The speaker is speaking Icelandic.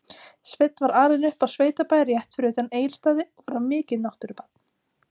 Sveinn var alinn upp á sveitabæ rétt fyrir utan Egilsstaði og var mikið náttúrubarn.